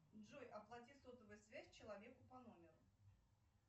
джой оплати сотовую связь человеку по номеру